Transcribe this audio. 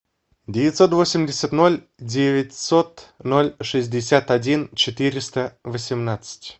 девятьсот восемьдесят ноль девятьсот ноль шестьдесят один четыреста восемнадцать